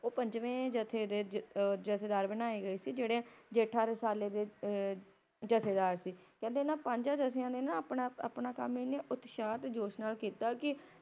ਓਹ ਪੰਜਵੇਂ ਜਥੇ ਦੇ ਜਥੇਦਾਰ ਬਣਾਈ ਗਏ ਸੀ ਜੇਹੜੇ ਜੇਠਾ ਰਸਾਲੇ ਦੇ ਜਥੇਦਾਰ ਸੀ। ਕਹਿੰਦੇ ਇਹਨਾਂ ਪੰਜਾ ਜਥਿਆਂ ਨੇ ਆਪਣਾ ਕੰਮ ਇੰਨੇ ਉਤਸਾਹ ਤੇ ਜੋਸ਼ ਨਾਲ ਕੀਤਾ ਕਿ